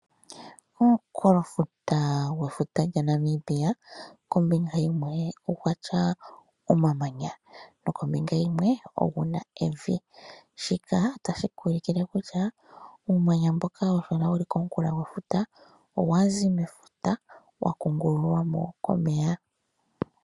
Omunkulofuta gwefuta lya Namibia kombinga yimwe ogwa tya omamanya, nokombinga yimwe oguna evi. Shika otashi ku ulikile kutya uumanya mboka hawu kala komunkulofuta gwefura owa zi mefuta, wa kungululwamo komeya.